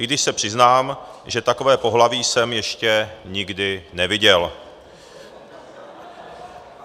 I když se přiznám, že takové pohlaví jsem ještě nikdy neviděl.